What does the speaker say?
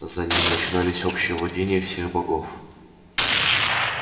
за ним начинались общие владения всех богов